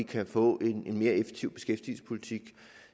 kan få en mere effektiv beskæftigelsespolitik